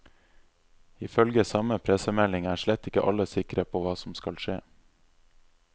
Ifølge samme pressemelding er slett ikke alle sikre på hva som skal skje.